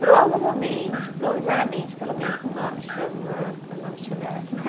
Provavelmente, provisoriamente, pelo menos o nome chama. O nome chama é ótimo.